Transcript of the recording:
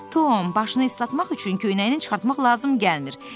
Tom, başını islatmaq üçün köynəyini çıxartmaq lazım gəlmir.